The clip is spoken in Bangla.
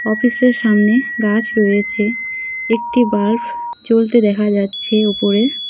অফিস -এর সামনে গাছ রয়েছে একটি বাল্ব জ্বলতে দেখা যাচ্ছে ওপরে।